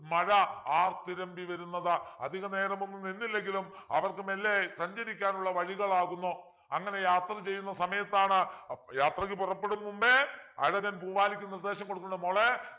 മഴ ആർത്തിരമ്പി വരുന്നത് അധികനേരമൊന്നും നിന്നില്ലെങ്കിലും അവർക്ക് മെല്ലെ സഞ്ചരിക്കാനുള്ള വഴികളാകുന്നു അങ്ങനെ യാത്ര ചെയ്യുന്ന സമയത്താണ് ഏർ യാത്രക്ക് പുറപ്പെടും മുൻപേ അഴകൻ പൂവാലിക്ക് നിർദേശം കൊടുക്കുന്നു മോളേ